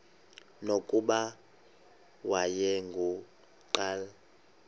nokuba wayengu nqal